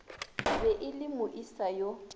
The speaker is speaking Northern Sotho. be e le moesa yo